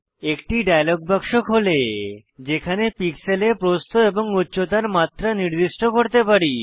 একটি ডায়লগ বাক্স খোলে যেখানে পিক্সেলে প্রস্থ এবং উচ্চতার মাত্রা নির্দিষ্ট করতে পারি